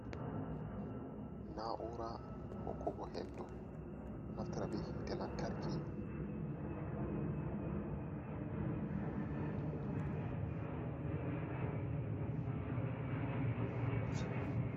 Naa'uura hokkugo henndu, ɗo naftira bee hiite lamtarki.